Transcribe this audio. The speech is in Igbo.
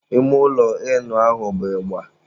Ime ụlọ Ịnụ ahụ bụ ịgba.